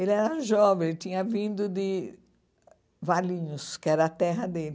Ele era jovem, tinha vindo de Valinhos, que era a terra dele.